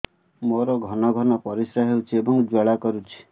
ମୋର ଘନ ଘନ ପରିଶ୍ରା ହେଉଛି ଏବଂ ଜ୍ୱାଳା କରୁଛି